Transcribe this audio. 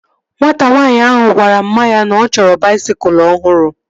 Nwata nwaanyị ahụ gwara mma ya na ọ chọrọ baisikụl ọhụrụ